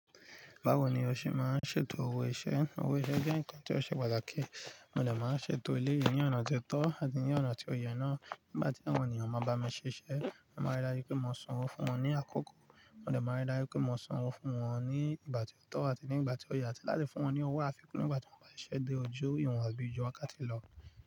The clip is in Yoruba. Báwo ni o ṣe máa ń ṣètò owó iṣẹ́? Owó iṣẹ́ jẹ́ nǹkan tí ó ṣe pàtàkì. Mo de máa ń ṣètò eléyìí ní ọ̀nà tí ó tọ́ àti ní ọ̀nà tí ó yẹ náà. Nígbà tí àwọn ènìyàn máa bá mi ṣiṣẹ́, mo máa rí dájú pé mo san owó fún wọn ní àkókò. Mo dè máa rí dájú pé mo san owó fún wọn ní ìgbà tí ó tọ́ àti ní ìgbà tí ó yẹ, àti láti fún wọn ní owó àfikún nígbà tí wọ́n bá ṣise de ojú ìwọ̀n àbí ju wá ká ti lọ.